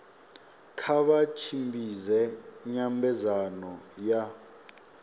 kha vha tshimbidze nyambedzano ya